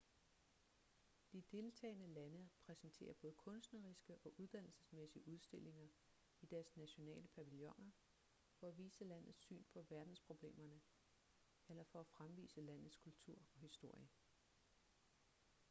de deltagende lande præsenterer både kunstneriske og uddannelsesmæssige udstillinger i deres nationale pavilloner for at vise landets syn på verdensproblemerne eller for at fremvise landets kultur og historie